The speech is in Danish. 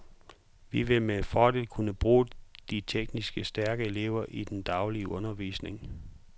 Vi vil med fordel kunne bruge de teknisk stærke elever i den daglige undervisning.